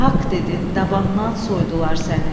Haqq dedin, dabandan soydular səni.